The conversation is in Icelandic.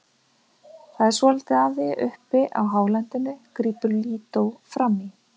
Það er svolítið af því uppi á hálendinu, grípur Lídó fram í.